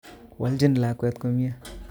Walchin lakwet komie